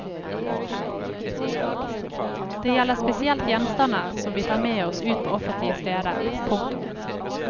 Det gjelder spesielt gjenstander som vi tar med oss ut på offentlige steder. punktum